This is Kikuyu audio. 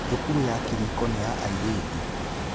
Thukuru ya Kiriko nĩ ya airĩtu.